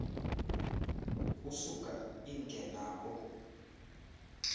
kusuka imke nabo